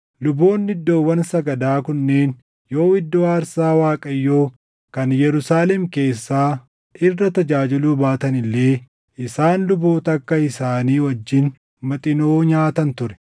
Luboonni iddoowwan sagadaa kunneen yoo iddoo aarsaa Waaqayyoo kan Yerusaalem keessaa irra tajaajiluu baatan illee isaan luboota akka isaanii wajjin Maxinoo nyaatan ture.